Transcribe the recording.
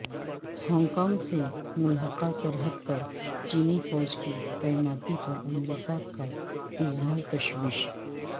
Hong Kong سے ملحقہ سرحد پر چینی فوج کی تعیناتی پر امریکہ کا اظہار تشویش